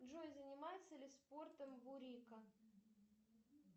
джой занимается ли спортом бурика